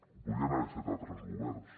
ho podien haver fet altres governs